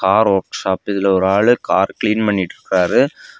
Car workshop இதுல ஒரு ஆளு கார் கிளீன் பண்ணிட்ருக்காரு.